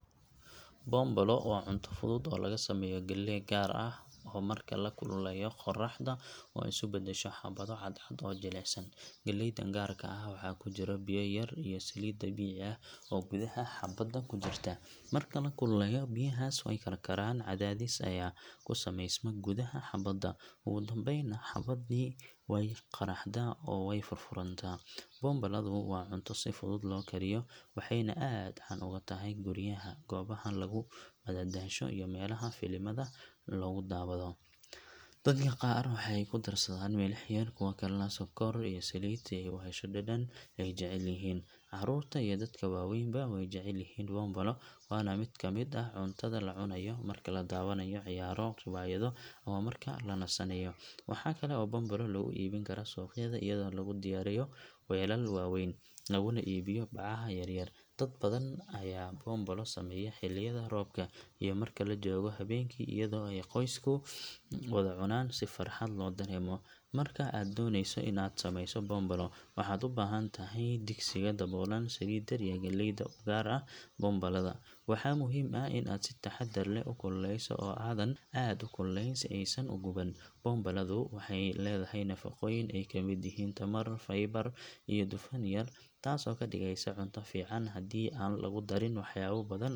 Boonbalo waa cunto fudud oo laga sameeyo galley gaar ah oo marka la kululeeyo qaraxdo oo isu beddesho xabbado cadcad oo jilicsan. Galleydan gaarka ah waxa ku jira biyo yar iyo saliid dabiici ah oo gudaha xabbadda ku jirta, marka la kululeeyo biyahaas way karkaraan, cadaadis ayaa ku samaysma gudaha xabbadda, ugu dambaynna xabbaddii way qaraxdaa oo way furfurantaa. Boonbaladu waa cunto si fudud loo kariyo, waxayna aad caan uga tahay guriyaha, goobaha lagu madadaasho iyo meelaha filimada lagu daawado. Dadka qaar waxay ku darsadaan milix yar, kuwa kalena sonkor iyo saliid si ay u hesho dhadhan ay jecel yihiin. Caruurta iyo dadka waaweynba way jecel yihiin boonbalo, waana mid ka mid ah cuntada la cunayo marka la daawanayo ciyaaro, riwaayado ama marka la nasanayo. Waxaa kale oo boonbalo lagu iibin karaa suuqyada iyadoo lagu diyaariyo weelal waaweyn, laguna iibiyo bacaha yaryar. Dad badan ayaa boonbalo sameeya xilliyada roobka iyo marka la joogo habeenkii iyadoo ay qoysku wada cunaan si farxad loo dareemo. Marka aad doonayso in aad sameyso boonbalo, waxaad u baahan tahay digsiga daboolan, saliid yar, iyo galleyda u gaar ah boonbalada. Waxaa muhiim ah in aad si taxadar leh u kululeyso oo aadan aad u kululeyn si aysan u guban. Boonbaladu waxay leedahay nafaqooyin ay ka mid yihiin tamar, faybar iyo dufan yar, taasoo ka dhigaysa cunto fiican haddii aan lagu darin waxyaabo badan .